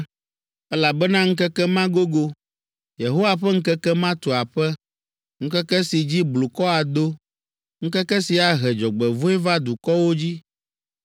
elabena ŋkeke ma gogo, Yehowa ƒe ŋkeke ma tu aƒe, ŋkeke si dzi blukɔ ado, ŋkeke si ahe dzɔgbevɔ̃e va dukɔwo dzi.